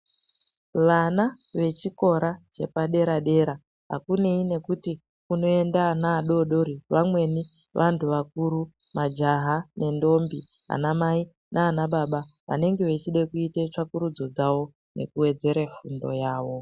Vana vechikora chepadera-dera hakunei nekuti kunoenda ana adori-dori. Vamweni antu vakuru majaha nendombi anamai nanababa anenge echide kuite tsvakurudzo dzavo nekuvedzere fundo yavo.